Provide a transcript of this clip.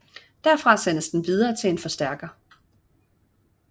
Derfra sendes den videre til en forstærker